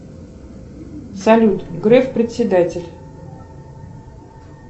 салют греф председатель